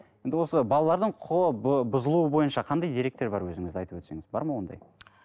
енді осы балалардың құқығы бұзылуы бойынша қандай деректер бар өзіңізде айтып өтсеңіз бар ма ондай